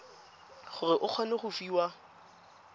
gore o kgone go fiwa